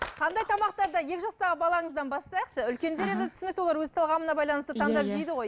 қандай тамақтарды екі жастағы балаңыздан бастайықшы үлкендер енді түсінікті олар өз талғамына байланысты таңдап жейді ғой